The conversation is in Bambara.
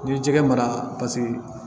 N'i ye jɛgɛ mara